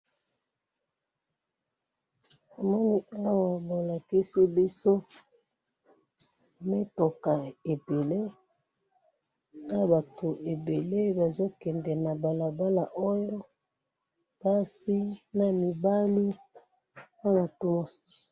Namoni awa balakisi biso mitoka ebele na batu ebele bazo kende na balabala oyo basi na mibali na bato mosusu